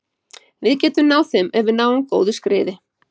Við getum náð þeim ef við náum góðu skriði.